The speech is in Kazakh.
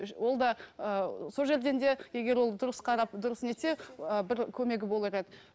ол да ыыы сол жерден де егер ол дұрыс қарап дұрыс не етсе ы бір көмегі болар еді